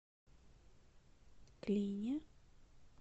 клине